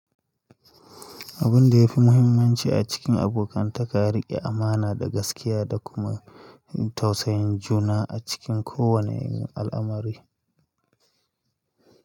Abin da ya fi muhimmanci a cikin abokantaka, riƙe amana da gaskiya da kuma tausayin juna a cikin kowane al'amari.